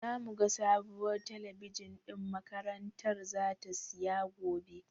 Zamu ga sabuwar talabijin ɗin makarantar zata siya gobe.